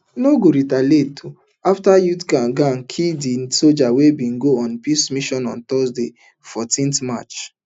no go retaliate afta youth gang kill di sojas wey bin go on peace mission on thursday fourteen march